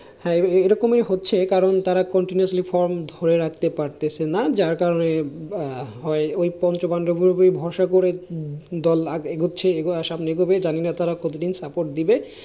হ্যাঁ এরকমই হচ্ছে কারন তারা continuously from ধরে রাখতে পারতেছে না। যার কারণ ওই, ওই পঞ্চপান্ডবের উপরেই ভরসা করে দল আরো এগোচ্ছে আরো সামনে এগোবে, জানিনা তারা কত দিন support দিবে।